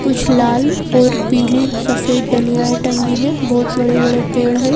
कुछ लाल और पीली सफेद डलियाएं टंगी हैं बहुत बड़े-बड़े पेड़ हैं।